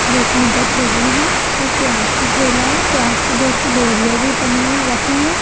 जिसमें दो ठेले हैं एक प्याज का ठेला है प्याज की बहुत सी बोरिया भी बनी है रखी है।